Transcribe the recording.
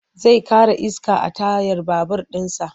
Zai ƙara iska a tayar babur ɗinsa.